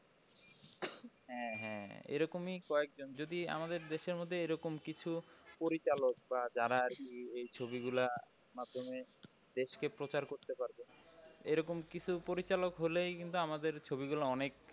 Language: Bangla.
হ্যাঁ হ্যাঁ এরকমই কয়েক জন যদি আমাদের দেশের মধ্যে এরকম কিছু পরিচালক বা যারা আর কি এই ছবি গুলার মাধ্যমে দেশকে প্রচার করতে পারবে এরকম কিছু পরিচালক হলেই কিন্তু আমাদের ছবি গুলো অনেক